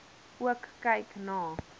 ook kyk na